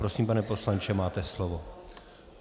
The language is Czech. Prosím, pane poslanče, máte slovo.